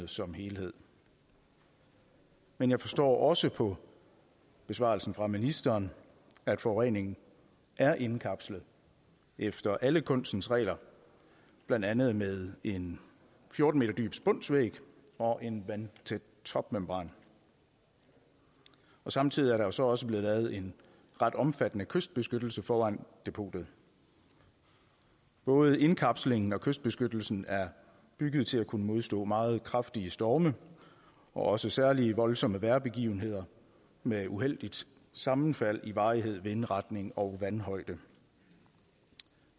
som helhed men jeg forstår også på besvarelsen fra ministeren at forureningen er indkapslet efter alle kunstens regler blandt andet med en fjorten m dyb spunsvæg og en vandtæt topmembran samtidig er der jo så også blevet lavet en ret omfattende kystbeskyttelse foran depotet både indkapslingen og kystbeskyttelsen er bygget til at kunne modstå meget kraftige storme og også særlig voldsomme vejrbegivenheder med uheldigt sammenfald i varighed vindretning og vandhøjde